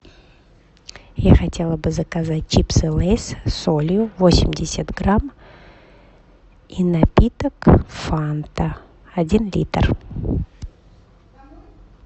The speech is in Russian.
я хотела бы заказать чипсы лейс с солью восемьдесят грамм и напиток фанта один литр